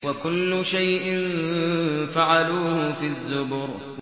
وَكُلُّ شَيْءٍ فَعَلُوهُ فِي الزُّبُرِ